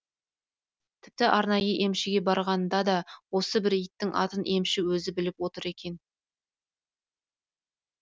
тіпті арнайы емшіге барғанда да осы бір иттің атын емші өзі біліп отыр екен